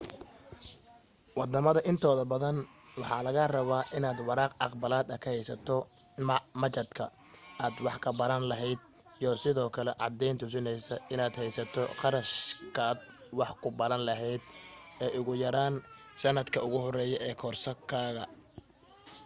waddamada intooda badan waxaa laga rabaa inaad waraaq aqbalaad ka haysato machadka aad wax ka baran lahayd iyo sidoo kale caddayn tusinaysa inaad haysato qarashkaad wax ku baran lahayd ugu yaraan sannadka ugu horeeya ee kooraskaaga